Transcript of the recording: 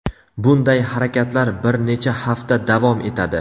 Bunday harakatlar bir necha hafta davom etadi.